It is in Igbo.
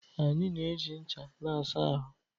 Anyị na-eji ncha na-asa ahụ